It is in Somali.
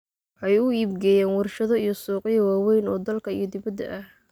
Waxay u iibgeeyaan warshado iyo suuqyo waaweyn oo dalka iyo dibadda ah.